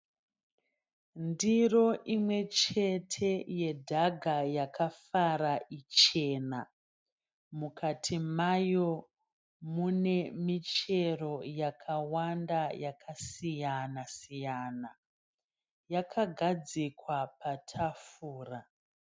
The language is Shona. Ndiro imwe chete yedhaga yakafara ichena. Mukati mayo mune michero yakawanda yakasiyana siyana. Yakagadzikwa patafura.